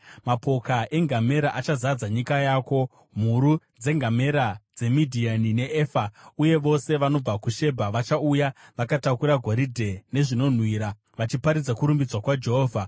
Mapoka engamera achazadza nyika yako, mhuru dzengamera dzeMidhiani neEfa. Uye vose vanobva kuShebha vachauya, vakatakura goridhe nezvinonhuhwira vachiparidza kurumbidzwa kwaJehovha.